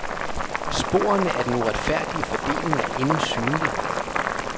Sporene af den uretfærdige fordeling er endnu synlig.